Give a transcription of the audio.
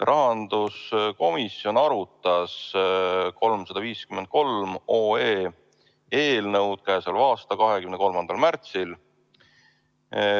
Rahanduskomisjon arutas eelnõu 353 k.a 23. märtsil.